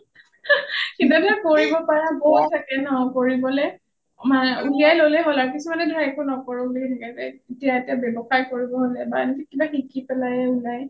কিবা এটা কৰিব পাৰা থাকে ন কৰিবলে উলিয়াই ললে হল আৰু কিছুমানে ধৰা একো নকৰো বুলি থাকে যে এতিয়া এটা ব্যৱসায় কৰিব হলে বা শিকি পেলাইয়ে উলাই